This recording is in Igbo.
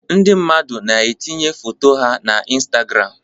Ndị mmadụ na-etinye foto ha na Instagram